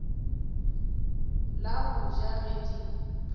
la go ja ge di